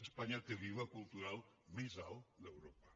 espanya té l’iva cultural més alt d’europa